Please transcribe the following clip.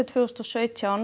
tvö þúsund og sautján